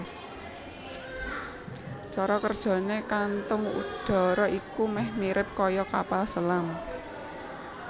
Cara kerjané kantung udara iki meh mirip kaya kapal selam